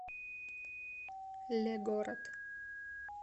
легород